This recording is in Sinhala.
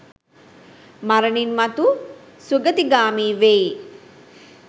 මරණින් මතු සුගතිගාමි වෙයි.